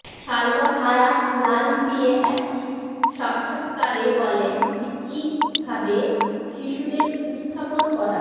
Salma Hayek লাল দিয়ে একটি সাক্ষাত্কারে বলেন যে কিভাবে শিশুদের উত্থাপন করা